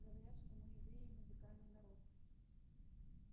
говорят что мы евреи музыкальный народ